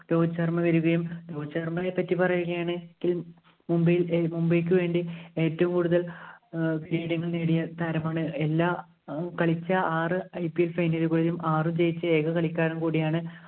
രോഹിത് ശര്‍മ്മ വരുകയും രോഹിത് ശര്‍മ്മേനെ പറ്റി പറയുകയാണെങ്കിലും മുംബൈയിൽ മുംബൈയ്ക്ക് വേണ്ടി ഏറ്റവും കൂടുതല്‍ leading ഇല്‍ നേടിയ താരമാണ് എല്ലാ കളിച്ച, ആറ് IPLfinal ഉകളിലും ആറും ജയിച്ച ഏക കളിക്കാരന്‍ കൂടിയാണ്